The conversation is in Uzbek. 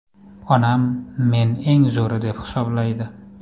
Onam men eng zo‘ri deb hisoblaydi.